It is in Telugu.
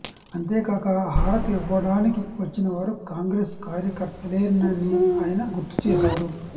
అంతేకాక హారతి ఇవ్వడానికి వచ్చినవారు కాంగ్రెస్ కార్యకర్తలేనని ఆయన గుర్తుచేశారు